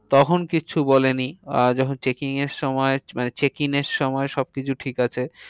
তখন কিচ্ছু বলেনি। আর যখন checking এর সময় মানে checking এর সময় কিছু ঠিক আছে